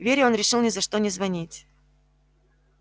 вере он решил ни за что не звонить